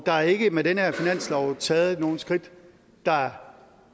der er ikke med den her finanslov taget nogen skridt der